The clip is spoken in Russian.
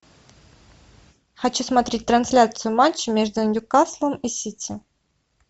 хочу смотреть трансляцию матча между ньюкаслом и сити